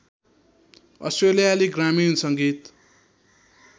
अस्ट्रेलियाली ग्रामीण सङ्गीत